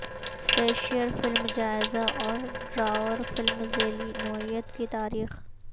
slasher film جائزہ اور ڈراور فلم ذیلی نوعیت کی تاریخ